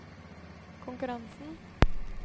konkurransen